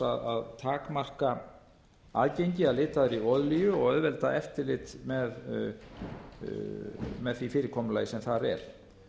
að takmarka aðgengi að litaðri olíu og auðvelda eftirlit með því fyrirkomulagi sem þar er